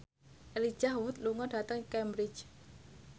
Elijah Wood lunga dhateng Cambridge